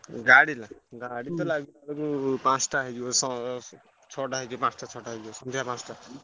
ଗାଡି ନା ଗାଡି ତ ଲାଗିବ ଯୋଉ ପାଞ୍ଚଟା ହେଇଯିବ ଶ୍~ ଛଅଟା ହେଇଯିବ, ପାଞ୍ଚଟା ଛଅଟା ହେଇଯିବ ସନ୍ଧ୍ୟା ପାଞ୍ଚଟା।